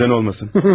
Neden olmasın?